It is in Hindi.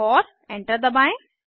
और एंटर दबाएं